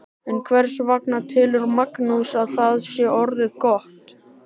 En hvers vegna telur Magnús að þetta sé orðið gott?